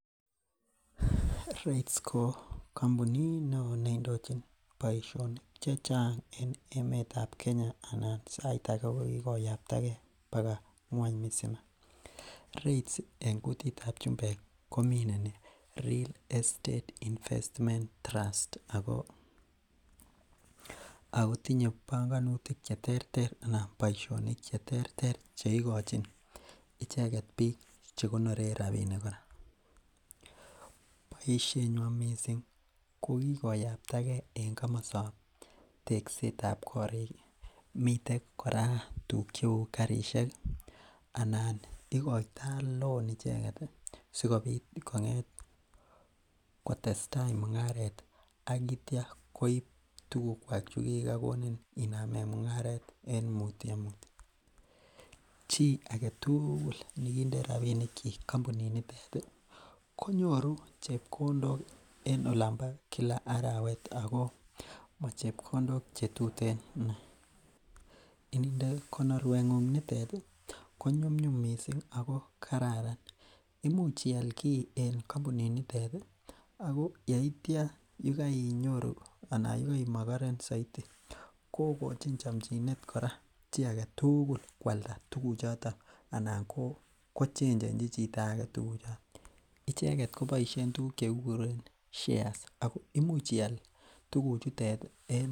Real Estate Investment Trusts ko kampunit neoo neindochin boisionik chechang en emet ab Kenya ana sait ake ko kikoyaptagee baka ngwony mzima Real Estate Investment Trusts en kutit ab chumbek komineni Real Estate Investment Trusts ako tinye bongonitik cheterter ana boisionik cheterter cheikochin icheket biik chekonoren rapinik kora. Boisietnywan missing ko kikoyaptagee en komostab teksetab korik miten kora tuguk cheu karisiek anan ikoitoo loan icheket sikobit kong'et kotesetai mung'aret ak itya koib tuguk kwak chekikokonin inamen mung'aret en mutyo mutyo. Chii aketugul nekinde rapinik kyik kampunit nitet ih konyoru chepkondok en olon bo kila arawet ako mo chepkondok chetuten inei ininde konorwet ng'ung nitet ih konyumnyum missing ako kararan, imuch ial kiy en kampunit nitet ih ako yeitya yekeinyoru anq yekeimokoren soiti kokochin chomchinet kora chii aketugul koalda tuguk choton ana kochenjenji chito age tuguk choton. Icheket koboisien tuguk chekikuren shares ako imuch ial tuguk chutet en